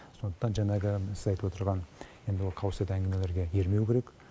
сондықтан жаңағы сіз айтып отырған енді ол қауесет әңгімелерге ермеу керек